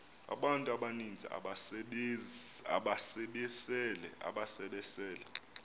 abantu abaninzi ababesele